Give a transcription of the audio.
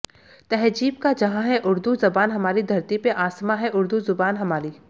तहज़ीब का जहां है उर्दू ज़बान हमारी धरती पे आसमां है उर्दू ज़बान हमारी